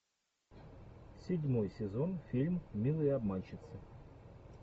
седьмой сезон фильм милые обманщицы